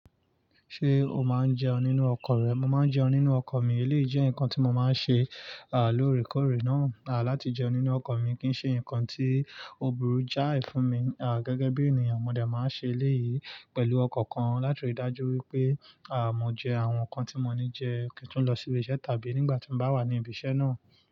Ṣé o máa ń jẹun nínú ọkọ̀ rẹ? Mo máa ń jẹun nínú ọkọ̀ mi. Eleyi jẹ́ nǹkan tí mo máa ń ṣe, à loorekóre náà. À láti jẹun nínú ọkọ̀ mi kì í ṣe ǹkan tí òburú já ì fún mi. À gẹ́gẹ́ bí ènìyàn, mọ dé máa ń ṣe léyìí pẹ̀lú ọkan kan láti rí i dájú wípé à mọ́ jẹ àwọn ǹkan tí mo ní jẹ kì í tun lọ sí ibi iṣẹ́ tàbí nígbà tí mo bá wà ní ibi iṣẹ́ náà.